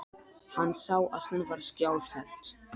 Hann sá að hún var skjálfhent.